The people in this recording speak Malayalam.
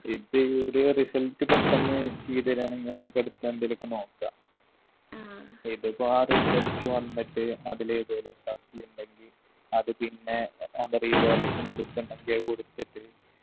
ഇത് ഓരു result പെട്ടന്ന് ചെയ്ത് തരാണെങ്കി നമുക്ക് അടുത്ത എന്തേലും ഒക്കെ നോക്കാ ഇതിപ്പോ ആ result വന്നിട്ട് അതിലേതേലും supply ഇണ്ടെങ്കി അത് പിന്നെ അത് revaluation ന് കൊടുക്കണ്ടെങ്കി അത് കൊടുത്തിട്ട്